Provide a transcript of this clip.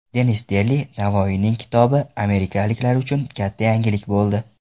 Denis Deli: Navoiyning kitobi amerikaliklar uchun katta yangilik bo‘ldi.